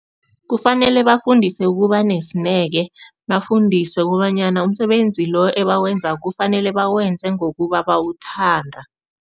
Kufanele bafundiswe ukuba nesineke, bafundiswe kobanyana umsebenzi lo ebawenzako kufanele bawenze ngokuba bawuthanda.